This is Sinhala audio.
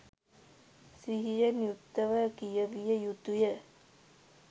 සිහියෙන් යුක්තව කියවිය යුතු ය.